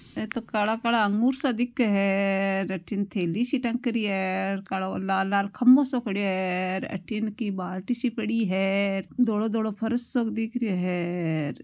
ऐ तो काला काला अगुर सा दिखे है अठीने थैली सी टंक री है र कालो लाल लाल खम्बो सो खड़यो है र अठीन की बाल्टी सी पड़ी है र धोलो धोलो फर्श सो दिख रहियो है र।